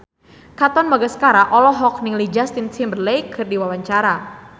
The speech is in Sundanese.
Katon Bagaskara olohok ningali Justin Timberlake keur diwawancara